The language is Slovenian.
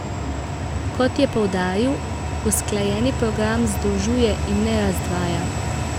Kot je poudaril, usklajeni program združuje, in ne razdvaja.